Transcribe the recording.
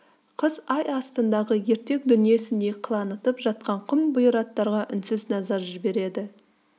қыз ай астындағы ертек дүниесіндей қылаңытып жатқан құм бұйраттарға үнсіз назар жібереді